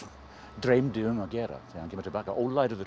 dreymdi um að gera þegar hann kemur til baka